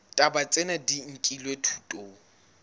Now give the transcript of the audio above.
ditaba tsena di nkilwe thutong